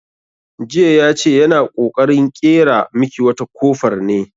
Jiya ya ce yana ƙoƙarin ƙera miki wata kofar ne.